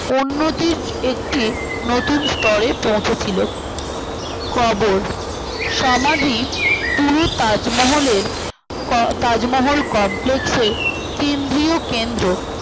অন্যদিচ্ছ একটি নতুন স্তরে পৌঁছে ছিল লঃ কবর সমাধি পুরো তাজমহলের ক তাজমহল complex এর কেন্দ্রীয় কেন্দ্র